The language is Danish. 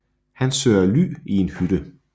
Han søger ly i en hytte